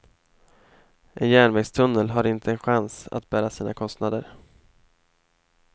En järnvägstunnel har inte en chans att bära sina kostnader.